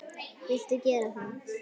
Viltu gera það?